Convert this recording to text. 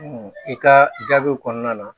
I ka jaabiw kɔnɔna na